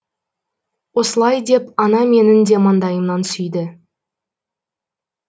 осылай деп ана менің де маңдайымнан сүйді